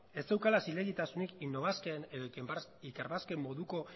ez zeukala zilegitasunik innobasquen edo ikerbasquen moduko